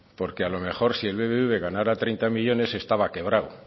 porque a lo mejor si el bbv ganara treinta millónes estaba quebrado